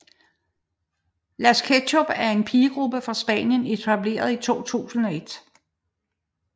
Las Ketchup er en pigegruppe fra Spanien etableret i 2001